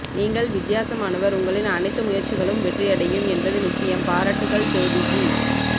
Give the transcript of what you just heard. நீங்கள் வித்தியாசமானவர் உங்களின் அனைத்து முயற்சிகளும் வெற்றி அடையும் என்பது நிச்சயம் பாராட்டுக்கள் ஜோதிஜிஜிஜிஜிஜிஜிஜிஜிஜிஜிஜிஜிஜிஜிஜிஜி